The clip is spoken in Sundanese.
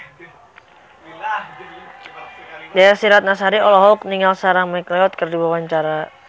Desy Ratnasari olohok ningali Sarah McLeod keur diwawancara